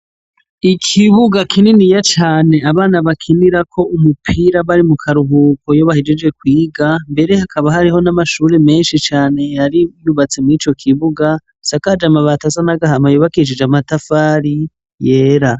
Ikibuga kinini ya cane abana bakinira ko umupira bari mu karuhuko yobahijije kuyiga mbere hakaba hariho n'amashuri menshi cyane yari yubatse mu ico kibuga sakajemabat asanagahamayo bakicije amatafari yera.